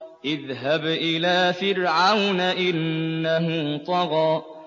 اذْهَبْ إِلَىٰ فِرْعَوْنَ إِنَّهُ طَغَىٰ